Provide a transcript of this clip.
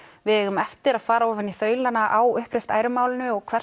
við eigum eftir að fara ofan í á uppreist æru málinu og hvers